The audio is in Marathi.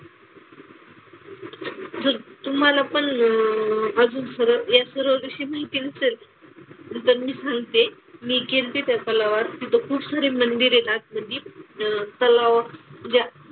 जर तुम्हाला पण अह अजून सरोवर या सरोवराची माहिती नसेल तर मी सांगते. मी कीर्ती इथे खूप सारी मंदिरे येतात. नदीत, तलावाच्या,